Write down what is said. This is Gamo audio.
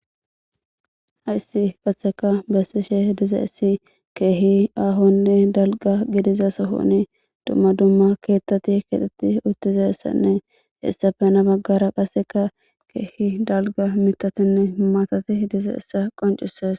hayssi qatheka bessishe diza issi keehi aahonne dalga gidiza sohoni dumma dumma keettati kexeti uttiza ssanne hessafena baggara qasseka keehi dalga mitatinne maatati diza issa qoncisees